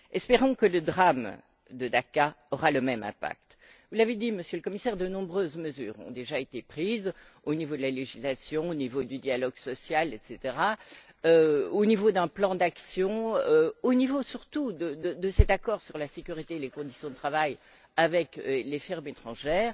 Espérons que le drame de Dacca aura le même impact. Vous l'avez dit, Monsieur le Commissaire, de nombreuses mesures ont déjà été prises au niveau de la législation, du dialogue social, de l'adoption d'un plan d'action, au niveau, surtout, de cet accord sur la sécurité et les conditions de travail avec les firmes étrangères